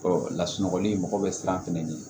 lasunɔgɔli mɔgɔ bɛ siran fɛnɛ ɲɛ